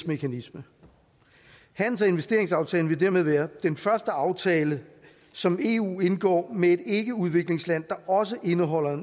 mekanisme handels og investeringsaftalen vil dermed være den første aftale som eu indgår med et ikkeudviklingsland der også indeholder